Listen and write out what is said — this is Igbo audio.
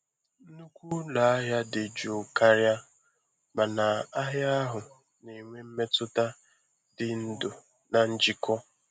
Nnukwu ụlọ ahịa dị jụụ karịa, mana ahịa ahụ na-enwe mmetụta dị ndụ na njikọ.